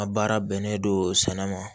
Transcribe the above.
A baara bɛnnen don sɛnɛ ma